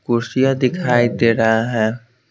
कुर्सियां दिखाई दे रहा है।